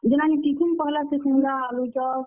ଯେ ନାନୀ, tiffin ପହେଲା ସେ, ସିଂଘଡା, ଆଲୁଚପ୍।